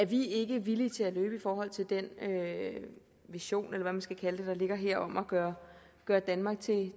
vi ikke villige til at løbe i forhold til den vision eller hvad man skal kalde den der ligger her om at gøre gøre danmark til